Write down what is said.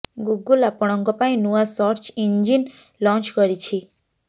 Google ଆପଣଙ୍କ ପାଇଁ ନୂଆ ସର୍ଚ୍ଚ ଇଞ୍ଜିନ୍ ଲଞ୍ଚ୍ କରିଛି